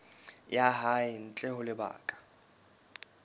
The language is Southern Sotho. ya hae ntle ho lebaka